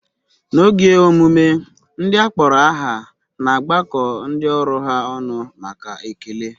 N'oge emume, ndị akpọrọ aha na-agbakọ ndị ọrụ ha ọnụ maka ekele.